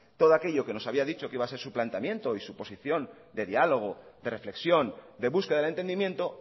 todo aquello que nos había dicho que iba a ser su planteamiento y su posición de diálogo de reflexión de búsqueda del entendimiento